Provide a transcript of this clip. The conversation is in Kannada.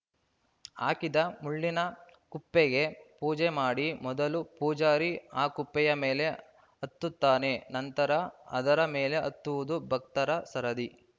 ಹಾಕಿದ ಮುಳ್ಳಿನ ಕುಪ್ಪೆಗೆ ಪೂಜೆ ಮಾಡಿ ಮೊದಲು ಪೂಜಾರಿ ಆ ಕುಪ್ಪೆಯ ಮೇಲೆ ಹತ್ತುತ್ತಾನೆ ನಂತರ ಅದರ ಮೇಲೆ ಹತ್ತುವುದು ಭಕ್ತರ ಸರದಿ